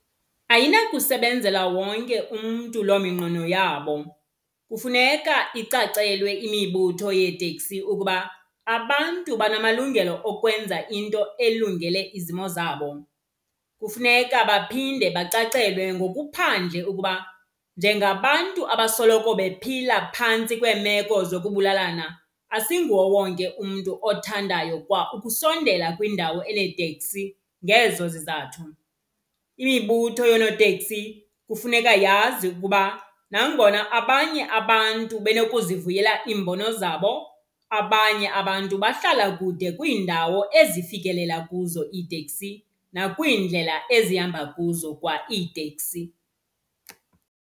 Ayinakusebenzela wonke umntu lo minqweno yabo. Kufuneka icacelwe imibutho yeetekisi ukuba abantu banamalungelo okwenza into elungele izimo zabo. Kufuneka baphinde bacacelwe ngokuphandle ukuba njengabantu abasoloko bephila phantsi kweemeko zokubulalana, asinguwo wonke umntu othandayo kwa ukusondela kwiindawo eneeteksi ngezo zizathu. Imibutho yoonoteksi kufuneka yazi ukuba nangona abanye abantu benokuzivuyela iimbono zabo, abanye abantu bahlala kude kwiindawo ezifikelela kuzo iitekisi nakwiindlela ezihamba kuzo kwa iitekisi.